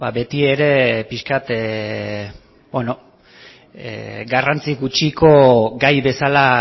betiere pixka bat garrantzia gutxiko gai bezala